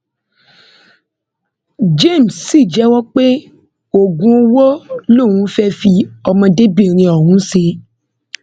james sì jẹwọ pé oògùn owó lòun fẹẹ fi ọmọdébìnrin ọhún ṣe